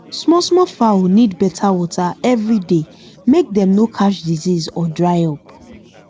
small small fowl need better water every day make dem no catch disease or dry up